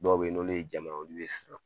Dɔw bɛ yen n'olu ye jama ye, olu bɛ siran.